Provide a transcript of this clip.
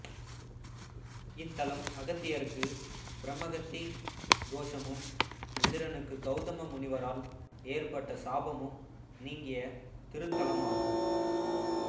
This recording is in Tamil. இத்தலம் அகத்தியருக்கு பிரமகத்தி தோஷமும் இந்திரனுக்கு கௌதம முனிவரால் ஏற்பட்ட சாபமும் நீங்கிய திருத்தலமாகும்